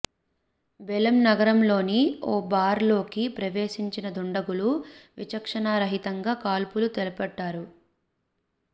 Belém నగరంలోని ఓ bar లోకి ప్రవేశించిన దుండగులు విచక్షణారహితంగా కాల్పులకు తెగబడ్డారు